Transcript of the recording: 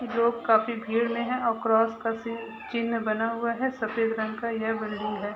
लोग काफी भीड़ में है और क्रॉस का सि चिन्ह बना हुआ है सफ़ेद रंग का ये बिल्डिंग है।